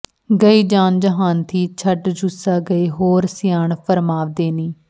ਗਈ ਜਾਨ ਜਹਾਨ ਥੀਂ ਛੱਡ ਜੁੱਸਾ ਗਏ ਹੋਰ ਸਿਆਣ ਫਰਮਾਂਵਦੇ ਨੀ